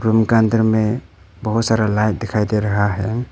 Room का अंदर में बहुत सारा लाइट दिखाई दे रहा है।